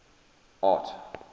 art